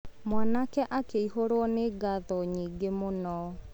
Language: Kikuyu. Mwanake akĩihũrwo nĩ ngatho nyingĩ mũno.